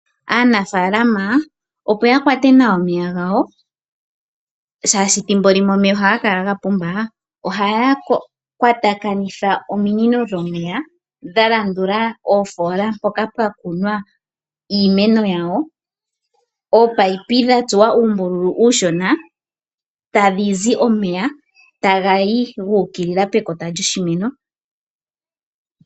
Aanafaalama opo yakwate nawa omeya gawo shaashi thimbo limwe omeya ohaga kala gapumba ohaya kwatakanitha ominino dhomeya dha landula iimpungu mpoka pwa kunwa iimeno yawo. Ominino ohadhi tsuwa oombululu oonshona etadhizi omeya ngono taga yi pekota lyoshimeno.